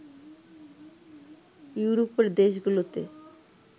ইউরোপের দেশগুলোতে